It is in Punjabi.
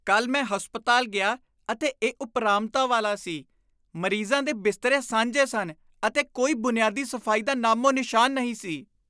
ਕੱਲ੍ਹ ਮੈਂ ਹਸਪਤਾਲ ਗਿਆ ਅਤੇ ਇਹ ਉਪਰਾਮਤਾ ਵਾਲਾ ਸੀ। ਮਰੀਜਾਂ ਦੇ ਬਿਸਤਰੇ ਸਾਂਝੇ ਸਨ ਅਤੇ ਕੋਈ ਬੁਨਿਆਦੀ ਸਫ਼ਾਈ ਦਾ ਨਾਮੋ ਨਿਸ਼ਨ ਨਹੀਂ ਸੀ।